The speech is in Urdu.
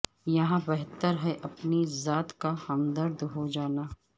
یہاں بہتر ہے اپنی ذات کا ہمدرد ہو جانا